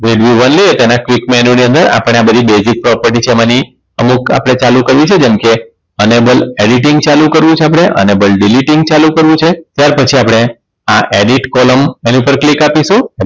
તેના TriCommanu ની અંદર આપણે આ બધી Basic property છે એમની અમુક આપણે ચાલુ કરીશું જેમ કે Enable editing ચાલુ કરવું છે આપણે અને Balaediting ચાલુ કરવું છે ત્યાર પછી આ Edit column એની પર click આપીશું